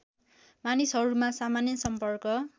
मानिसहरूमा सामान्य सम्पर्क